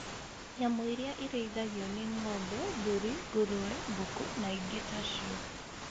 Nyamũ iria irĩithagio nĩ ngo'mbe, mbũri, ngũrũwe, ngũkũ na ingĩ tacio.